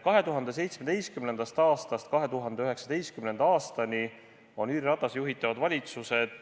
2017. aastast 2019. aastani on Jüri Ratase juhitavad valitsused